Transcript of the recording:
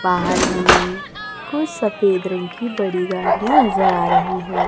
बाहर हमें कुछ सफेद रंग की बड़ी गाड़ियां नजर आ रही हैं।